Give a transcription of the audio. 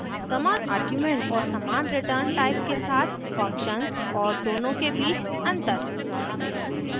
समान आर्ग्युमेंट और समान रिटर्न टाइप के साथ फंक्शन्स और दोनों के बीच अंतर